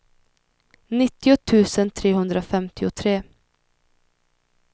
nittio tusen trehundrafemtiotre